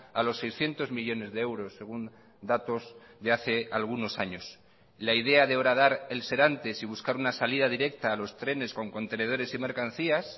a los seiscientos millónes de euros según datos de hace algunos años la idea de horadar el serantes y buscar una salida directa a los trenes con contenedores y mercancías